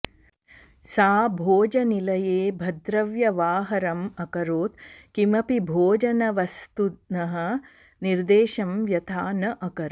सा भोजनिलये भद्रव्यवाहरम् अकरोत् किमपि भोजनवस्तुनः निर्देशं व्यथा न अकरोत्